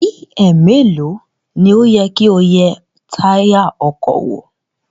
Bí ẹ̀ẹ̀melòó ni ó yẹ kí o yẹ táyà ọkọ̀ wò?